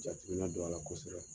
Jatigina don a la kɔsɛbɛ .